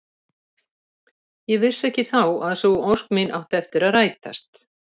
Ég vissi ekki þá að sú ósk mín átti eftir að rætast.